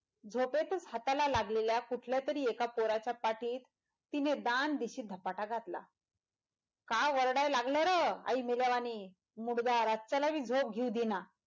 झोपेतच हाताला लागलेल्या कुठल्या तरी एका पोराच्या पाठीत तिने दान दिशी धपाटा घातला का वरडाय लागल रं आई मेल्यावानी मुडदा राच्याला बी झोप घ्यायला देईना.